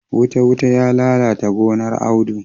Wuta-wuta ya lalata gonar Audu.